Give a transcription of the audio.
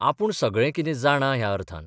आपूण सगळें कितें जाणा ह्या अर्थान.